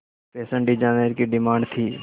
fashion designer की demand थी